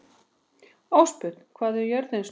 Ástbjörn, hvað er jörðin stór?